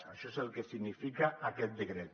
això és el que significa aquest decret